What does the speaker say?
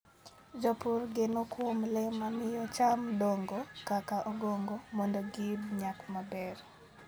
Jopur geno kuom le ma miyo cham dongo, kaka ongogo, mondo giyud nyak maber.